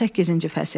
18-ci fəsil.